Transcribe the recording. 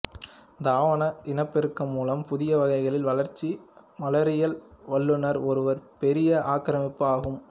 தாவர இனப்பெருக்கம் மூலம் புதிய வகைகளின் வளர்ச்சி மலரியல் வல்லுனர் ஒரு பெரிய ஆக்கிரமிப்பு ஆகும்